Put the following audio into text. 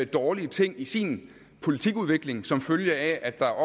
dårlige ting i sin politikudvikling som følge af at der er